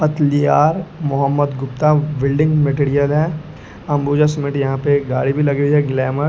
Patlia Mohammad Gupta building material है Ambuja cement यहाँ पे गाड़ी भी लगी हुई है ग्लैमर --